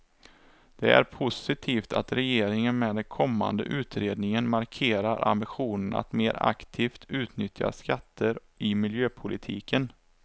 Det är positivt att regeringen med den kommande utredningen markerar ambitionen att mer aktivt utnyttja skatter i miljöpolitiken.